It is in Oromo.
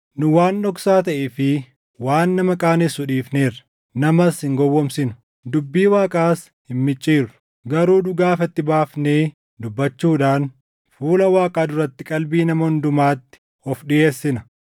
Nu waan dhoksaa taʼee fi waan nama qaanessu dhiifneerra; namas hin gowwoomsinu; dubbii Waaqaas hin micciirru. Garuu dhugaa ifatti baafnee dubbachuudhaan fuula Waaqaa duratti qalbii nama hundumaatti of dhiʼeessina.